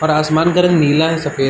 और आसमान का रंग नीला है। सफ़ेद --